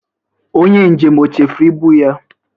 Onye njem o chefuru ibụ ya?